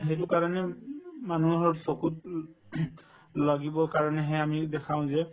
সেইটোৰ কাৰণে উব উব মানুহৰ চকুত উম লাগিবৰ কাৰণেহে আমি দেখাও যে